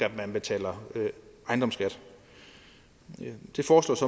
betaler ejendomsskat det foreslås